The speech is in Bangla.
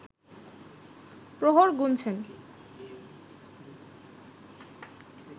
প্রহর গুনছেন